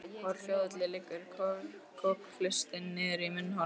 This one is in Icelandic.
Úr hljóðholi liggur kokhlustin niður í munnhol.